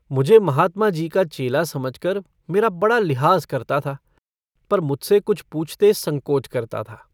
मुझे महात्माजी का चेला समझकर मेरा बड़ा लिहाज़ करता था पर मुझसे कुछ पूछते संकोच करता था।